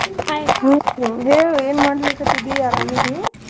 Hai ಹ್ಮ್ ಹೇಳು ಏನ್ ಮಾಡ್ಲಿಕತ್ತಿದೀ ಆರಾಮ್ ಅದಿ?